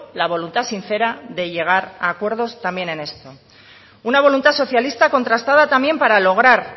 la voluntad sincera de llegar a acuerdos también en esto una voluntad socialista contrastada también para lograr